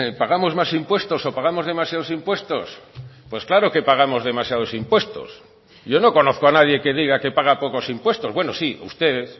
pagamos más impuestos o pagamos demasiados impuestos pues claro que pagamos demasiados impuestos yo no conozco a nadie que diga que paga pocos impuestos bueno sí ustedes